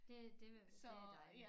Det det vil det dejligt